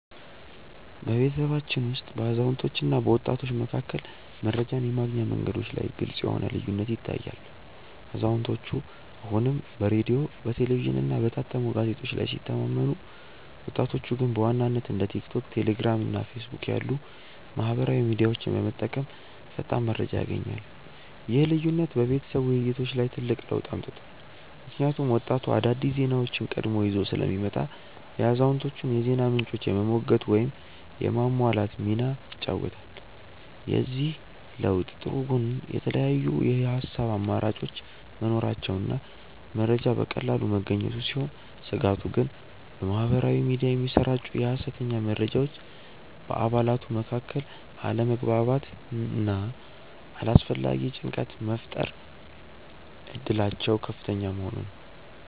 በቤተሰባችን ውስጥ በአዛውንቶችና በወጣቶች መካከል መረጃን የማግኛ መንገዶች ላይ ግልጽ የሆነ ልዩነት ይታያል፤ አዛውንቶቹ አሁንም በሬዲዮ፣ በቴሌቪዥንና በታተሙ ጋዜጦች ላይ ሲተማመኑ፣ ወጣቶቹ ግን በዋናነት እንደ ቲክቶክ፣ ቴሌግራም እና ፌስቡክ ያሉ ማኅበራዊ ሚዲያዎችን በመጠቀም ፈጣን መረጃ ያገኛሉ። ይህ ልዩነት በቤተሰብ ውይይቶች ላይ ትልቅ ለውጥ አምጥቷል፤ ምክንያቱም ወጣቱ አዳዲስ ዜናዎችን ቀድሞ ይዞ ስለሚመጣ የአዛውንቶቹን የዜና ምንጮች የመሞገት ወይም የማሟላት ሚና ይጫወታል። የዚህ ለውጥ ጥሩ ጎን የተለያዩ የሐሳብ አማራጮች መኖራቸውና መረጃ በቀላሉ መገኘቱ ሲሆን፣ ስጋቱ ግን በማኅበራዊ ሚዲያ የሚሰራጩ የሐሰተኛ መረጃዎች በአባላቱ መካከል አለመግባባትና አላስፈላጊ ጭንቀት የመፍጠር እድላቸው ከፍተኛ መሆኑ ነው።